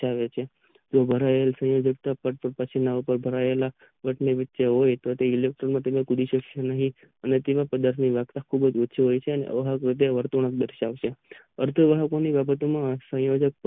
ની વચ્ચે હોય તો તે ઈલેક્ટ્રોન શકશે નહિ અને તેવા પદાર્થ ની વ્યાખ્યા ખુબજ ઓછી હોય છે અને વર્તુળાક દર્શાવશે અર્ધ વાહકોની બાબત માં સંયોજક